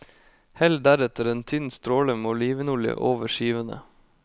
Hell deretter en tynn stråle med olivenolje over skivene.